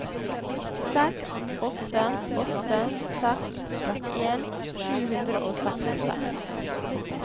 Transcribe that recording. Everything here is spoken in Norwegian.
seks åtte åtte seks trettien sju hundre og sekstiseks